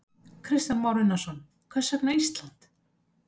Kristján Már Unnarsson: Hvers vegna Ísland?